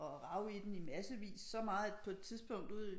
Og rav i den i massevis så meget at på et tidspunkt ude